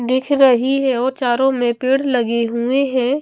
दिख रही है और चारो में पेड़ लगे हुए हैं।